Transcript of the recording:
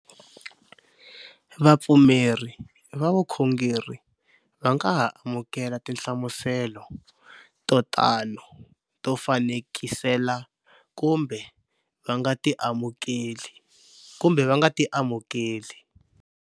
Vapfumeri va vukhongeri va nga ha amukela tinhlamuselo to tano to fanekisela kumbe va nga ti amukeli.